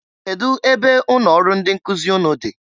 Kedu ebe ụnọ ọrụ ndị nkụzị ụnụ dị